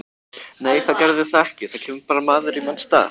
Nei það gerði það ekki, það kemur bara maður í manns stað.